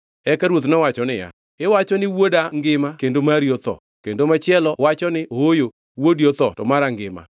Eka ruoth nowacho niya, “Iwacho ni, ‘Wuoda ngima kendo mari otho,’ kendo machielo wacho ni, ‘Ooyo, wuodi otho to mara ngima.’ ”